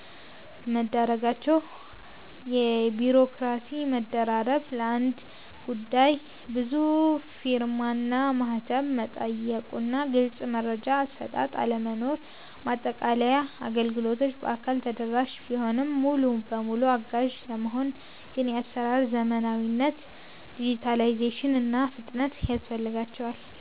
መዳረጋቸው። የቢሮክራሲ መደራረብ፦ ለአንድ ጉዳይ ብዙ ፊርማና ማህተም መጠየቁና ግልጽ የመረጃ አሰጣጥ አለመኖር። ማጠቃለያ፦ አገልግሎቶቹ በአካል ተደራሽ ቢሆኑም፣ ሙሉ በሙሉ አጋዥ ለመሆን ግን የአሰራር ዘመናዊነት (ዲጂታላይዜሽን) እና ፍጥነት ያስፈልጋቸዋል።